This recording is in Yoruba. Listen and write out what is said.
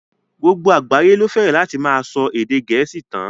Gbogbo àgbáyé ló fẹ́rẹ̀ láti máa ṣọ èdè gẹ̀ẹ́sì tán.